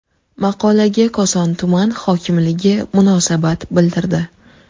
Maqolaga Koson tuman hokimligi munosabat bildirdi.